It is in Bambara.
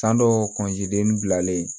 San dɔw bilalen